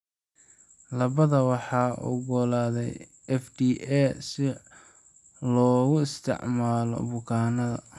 Labadaba waxaa oggolaaday FDA si loogu isticmaalo bukaannada.